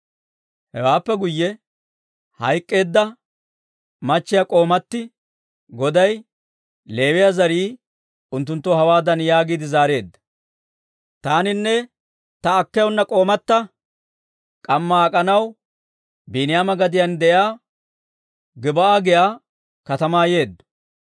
Hewaappe guyye hayk'k'eedda k'oomatti goday, Leewiyaa zarii unttunttoo hawaadan yaagiide zaareedda; «Taaninne ta k'oomatta k'ammaa ak'anaw Biiniyaama gadiyaan de'iyaa Gib'aa giyaa katamaa yeeddo.